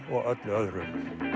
og öllu öðru